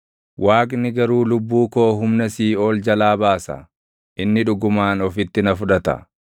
Waaqni garuu lubbuu koo humna siiʼool jalaa baasa; inni dhugumaan ofitti na fudhata.